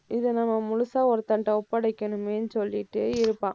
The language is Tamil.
இதை, நம்ம முழுசா ஒருத்தன்ட்ட ஒப்படைக்கணுமேன்னு சொல்லிட்டே இருப்பான்.